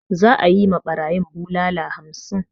Za'a yi ma barayin bulala hamsin.